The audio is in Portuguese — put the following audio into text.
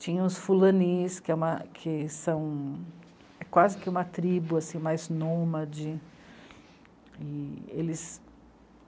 Tinha os Fulanis, que / é uma, que são quase que uma tribo mais nômade. E eles